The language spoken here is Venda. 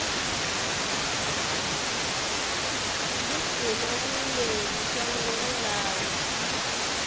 ḽi sina vhuimeli shangoni ḽavho